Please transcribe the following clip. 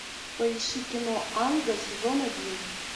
поищи кино анга сезон один